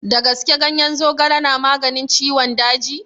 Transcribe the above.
Da gaske ganyen zogale na maganin ciwon daji?